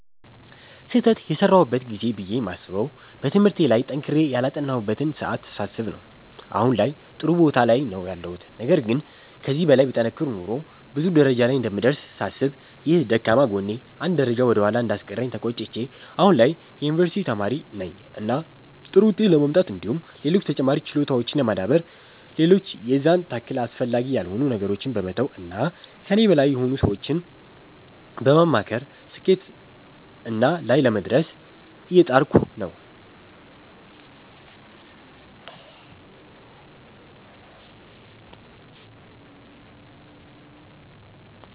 ስህተት የሰራሁበት ጊዜ ብዬ የማስበዉ በትምህርቴ ላይ ጠንክሬ ያላጠናሁበትን ሰዓት ሳስብ ነዉ አሁን ላይም ጥሩ ቦታ ላይ ነዉ ያለሁት ነገር ግን ከዚህ በላይ ብጠነክር ኖሮ ብዙ ደረጃ ላይ እንደምደርስ ሳስብ ይህ ደካማ ጎኔ አንድ ደረጃ ወደ ኋላ እንዳስቀረኝ ተቆጭቼ አሁን ላይ የዩኒቨርሲቲ ተማሪ ነኝ እና ጥሩ ዉጤት ለማምጣት እንዲሁም ሌሎች ተጨማሪ ችሎታዎችን ለማዳበር ሌሎች የዛን ታክል አስፈላጊ ያልሆኑ ነገሮችን በመተዉ እና ከኔ በላይ የሆኑ ሰዎችን በማማከር ስኬትና ላይ ለመድረስ እየጣርኩ ነዉ።